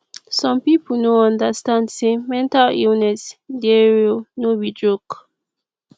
some pipo no understand say mental illness dey real no be joke